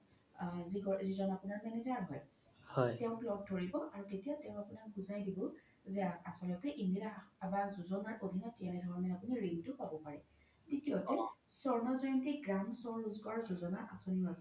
অ যিজ্ন আপোনাৰ manager হয় তেওক লগ ধৰিব তেতিয়া তেও আপোনাক বুজাই দিব যে আচল্তে ইন্দিৰা আবাস যোজনা অধিনত আপোনি কেনেধৰনে ৰিনতো পাব পাৰে তৃতীয়তে স্বৰ্ণ জয়ন্তী চহৰী ৰোজগাৰ যোজনা আচনীও আছে